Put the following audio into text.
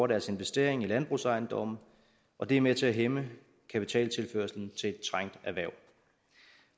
deres investering i landbrugsejendomme og det er med til at hæmme kapitaltilførslen til et trængt erhverv